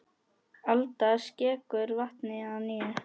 Alda skekur vatnið að nýju.